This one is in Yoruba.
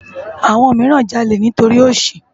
Awòn mirán jàlé nitóri óṣí